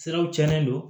Siraw cɛnnen don